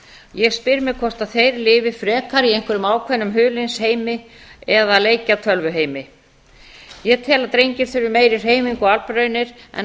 ég spyr mig hvort þeir lifi frekar í einhverjum ákveðnum huliðsheimi eða leikjatölvuheimi ég tel að drengir þurfi meiri hreyfingu og